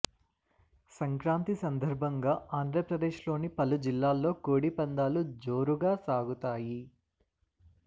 సంక్రాంతి సందర్భంగా ఆంధ్రప్రదేశ్లోని పలు జిల్లాల్లో కోడి పందాలు జోరుగా సాగుతాయి